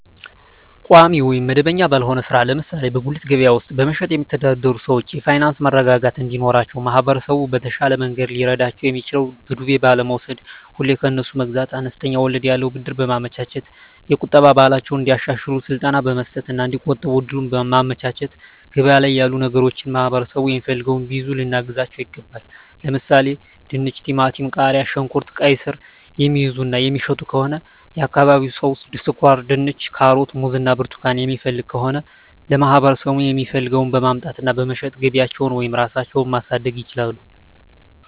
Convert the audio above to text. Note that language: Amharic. ቋሚ ወይም መደበኛ ባልሆነ ሥራ ላይ ለምሳሌ በጉሊት ገበያ ውስጥ በመሸጥየሚተዳደሩ ሰዎች የፋይናንስ መረጋጋት እንዲኖራቸው ማህበረሰቡ በተሻለ መንገድ ሊረዳቸው የሚችለው በዱቤ ባለመውስድ፤ ሁሌ ከነሱ መግዛት፤ አነስተኛ ወለድ ያለው ብድር በማመቻቸት፤ የቁጠባ ባህላቸውን እንዲያሻሽሉ ስልጠና መስጠት እና እዲቆጥቡ እድሉን ማመቻቸት፤ ገበያ ላይ ያሉ ነገሮችን ማህበረሠቡ የሚፈልገውን ቢይዙ ልናግዛቸው ይገባል። ለምሣሌ፦፤ ድንች፤ ቲማቲም፤ ቃሪያ፣ ሽንኩርት፤ ቃይስር፤ የሚይዙ እና የሚሸጡ ከሆነ የአካባቢው ሠው ስኳርድንች፤ ካሮት፤ ሙዝ እና ብርቱካን የሚፈልግ ከሆነ ለማህበረሰቡ የሚፈልገውን በማምጣት እና በመሸጥ ገቢያቸውን ወይም ራሳቸው ማሣደግ ይችላሉ።